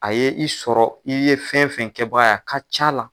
A ye i sɔrɔ i ye fɛn fɛn kɛbaga ye a ka c'a la